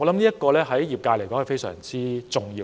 主席，這對業界來說非常重要。